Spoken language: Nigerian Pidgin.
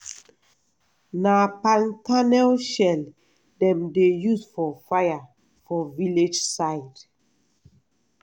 na palm kernel shell dem dey use for fire for village side.